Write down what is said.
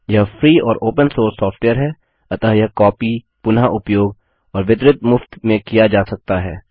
यह फ्री और open source software है अतः यह कॉपी पुनःउपयोग और वितरित मुफ्त में किया जा सकता है